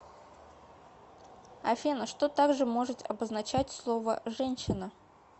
афина что также может обозначать слово женщина